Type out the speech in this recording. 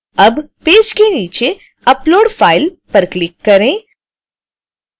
अब पेज के नीचे upload file पर क्लिक करें